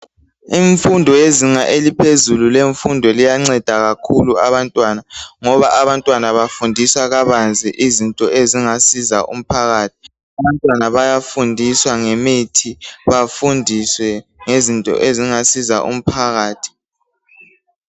Imfundo yezinga eliphezulu iyanceda kakhulu abantwana ngoba abantwana bafundiswa kabanzi izinto ezingasiza umphakathi. Abantwana bayafundiswa ngemithi bafundiswe ngezinto ezingasiza umphakathi.